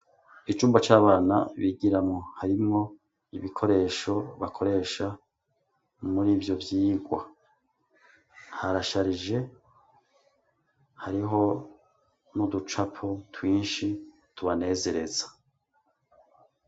Icumbo c'abana bigiramo harimwo ibikoresho bakoresha muri ivyo vyigwa harasharije hariho n'uducapo twinshi tubanezereza.